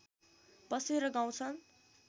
बसेर गाउँछन्